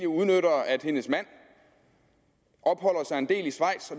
udnytter at hendes mand opholder sig en del i schweiz